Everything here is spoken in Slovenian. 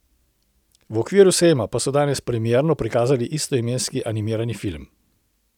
V okviru sejma pa so danes premierno prikazali istoimenski animirani film.